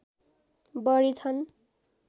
बढी छन्